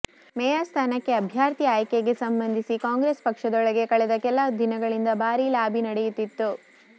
mayor ಸ್ಥಾನಕ್ಕೆ ಅಭ್ಯರ್ಥಿ ಆಯ್ಕೆಗೆ ಸಂಬಂಧಿಸಿ ಕಾಂಗ್ರೆಸ್ ಪಕ್ಷದೊಳಗೆ ಕಳೆದ ಕೆಲ ದಿನಗಳಿಂದ ಭಾರೀ ಲಾಬಿ ನಡೆಯುತ್ತಿತ್ತು